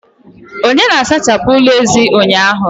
Onye na-asachapụ ụlọ ezi ụnyaahụ?.